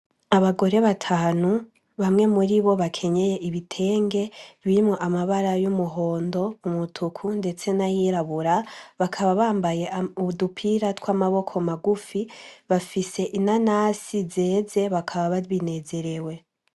Abagore batanu bamwe muri bo bakenyeye ibitenge birimwo amabara y'umuhondo mu mutuku, ndetse n'ayirabura bakaba bambaye ubudupira tw'amaboko magufi bafise inanasi zeze bakaba babinezerewe.